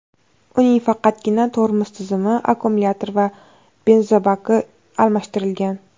Uning faqatgina tormoz tizimi, akkumulyatori va benzobaki almashtirilgan.